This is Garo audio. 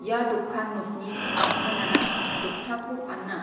ia dokan nokni a·panara doktako ana.